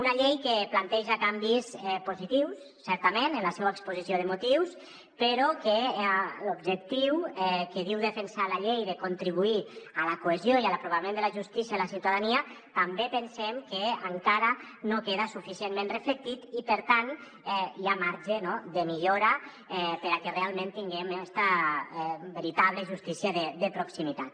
una llei que planteja canvis positius certament en la seua exposició de motius però que l’objectiu que diu defensar la llei de contribuir a la cohesió i a l’apropament de la justícia a la ciutadania també pensem que encara no queda suficientment reflectit i per tant hi ha marge no de millora perquè realment tinguem esta veritable justícia de proximitat